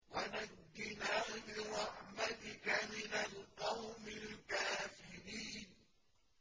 وَنَجِّنَا بِرَحْمَتِكَ مِنَ الْقَوْمِ الْكَافِرِينَ